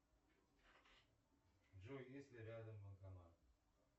джой есть ли рядом банкомат